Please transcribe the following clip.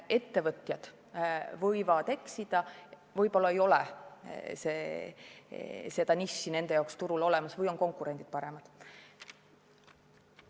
Ettevõtjad võivad eksida, võib-olla ei ole eeldatud nišši nende jaoks turul olemas või on konkurendid paremad.